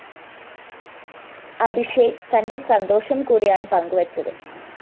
അഭിഷേക് തന്റെ സന്തോഷംകൂടിയാണ് പങ്കുവെച്ചത്